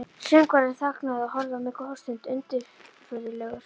Söngvarinn þagnaði og horfði á mig góða stund undirfurðulegur.